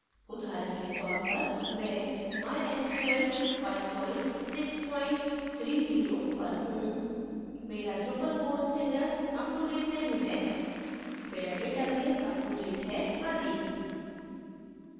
उदाहरण के तौर परमैं mysql 5630 पर हूँ मेरा drupal core status अपटूडेट नहीं है मेरा database अपटूडेट है आदि